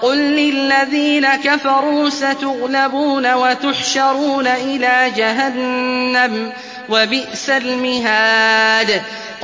قُل لِّلَّذِينَ كَفَرُوا سَتُغْلَبُونَ وَتُحْشَرُونَ إِلَىٰ جَهَنَّمَ ۚ وَبِئْسَ الْمِهَادُ